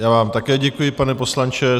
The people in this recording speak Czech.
Já vám také děkuji, pane poslanče.